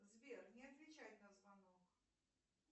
сбер не отвечать на звонок